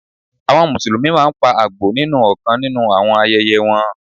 Àwọn Mùsùlùmí máa ń pa Àgbò nínú ọ̀kan nínú àwọn ayẹyẹ wọn.